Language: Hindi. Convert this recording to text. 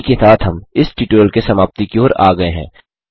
इसी के साथ हम इस ट्यूटोरियल के समाप्ति की ओर आ गये हैं